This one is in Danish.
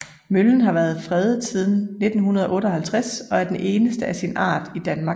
Møllen har været fredet siden 1958 og er den eneste af sin art i Danmark